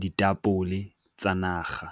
ditapole tsa naga.